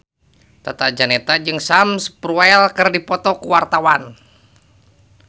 Tata Janeta jeung Sam Spruell keur dipoto ku wartawan